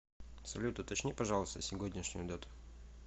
салют уточни пожалуйста сегодняшнюю дату